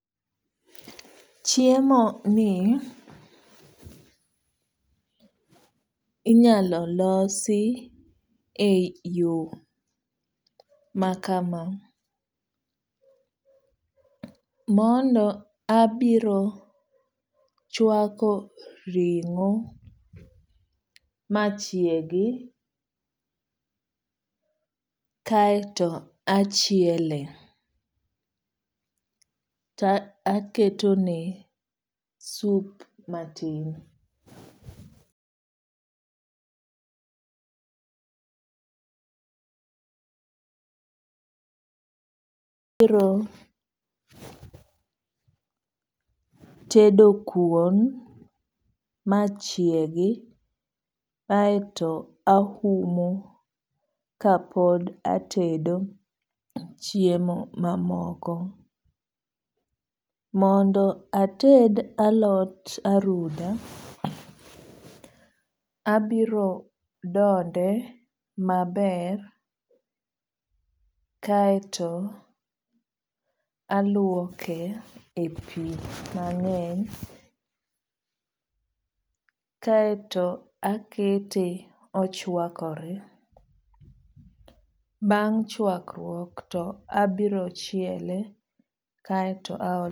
Chiemo ni inyalo losi e yo maka ma. Mondo abiro chwako ring'o machiegi kaeto achieloe to aketone sup matin. Abiro tedo kuon machiegi aeto ahumo kapod atedo chiemo mamoko. Mondo ated alot aruda. Abiro dode maber kaeto aluoke e pi mang'eny. Kaeto akete ochwakore. Bang' chwakruok to abiro chiele.